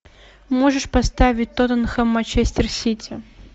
можешь поставить тоттенхэм манчестер сити